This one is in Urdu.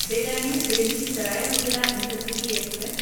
Bikaner Delhi Sarai Rohilla intercity express